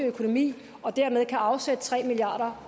økonomi og dermed kan afsætte tre milliard